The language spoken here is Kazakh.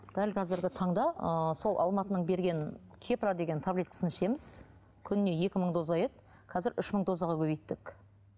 дәл қазіргі таңда ы сол алматының берген кепра деген таблеткасын ішеміз күніне екі мың доза еді қазір үш мың дозаға көбейттік